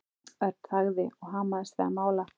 Örn þagði og hamaðist við að mála.